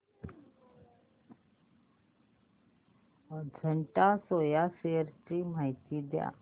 Ajanta soya shares ची माहिती द्या